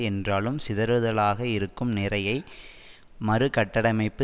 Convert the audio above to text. என்றாலும் சிதறுதலாக இருக்கும் நிறையை மறுகட்டடமைப்பு